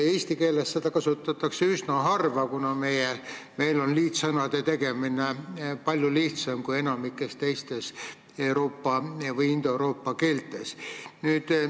Eesti keeles kasutatakse seda üsna harva, kuna meil on liitsõnade tegemine palju lihtsam kui enamikus indoeuroopa keeltes.